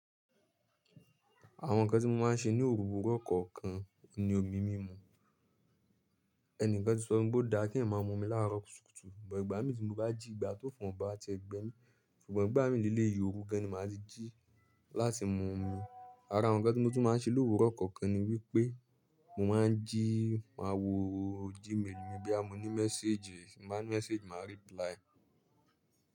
Àwọn ǹkan tí mo máa ń ṣe ní òwúrọ̀ kọ̀ọ̀kan ni omi mímu. Ẹni kan ti sọ fún mi pé ó dáa kí ẹ̀mà mọ́mi láàrọ̀ kùtùkùtù, ṣùgbọ́n ìgbà mí tí mo bá jí ìgbà tó ofun bá ti ẹ̀gbẹ́ mi, ṣùgbọ́n ìgbà mí ní ilé yìí òru gẹ́ni máa ji láti mu omi. Ara ǹkan tí mo tún máa ń ṣe lówúrọ̀ kọ̀ọ̀kan ni wípé mo máa ń jí, máa wo email mi bí a mo ní message, mo máa ní message, màá reply.